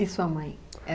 E sua mãe?